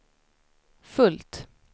fullt